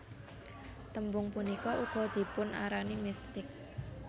Tembung punika uga dipunarani mistik